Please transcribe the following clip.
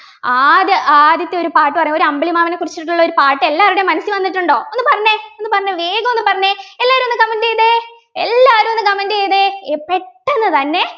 ആദ്യ ആദ്യത്തെ ഒരു പാട്ട് പറഞ്ഞെ ഒരു അമ്പിളിമാമനെ കുറിച്ചിട്ടുള്ള ഒരു പാട്ട് എല്ലാവരുടെയും മനസ്സിൽ വന്നിട്ടുണ്ടോ ഒന്ന് പറഞ്ഞെ ഒന്ന് പറഞ്ഞെ വേഗം ഒന്ന് പറഞ്ഞെ എല്ലാരും ഒന്ന് Comment എയ്‌തേ എല്ലാരും ഒന്ന് Comment എയ്‌തേ ഏർ പെട്ടന്ന് തന്നെ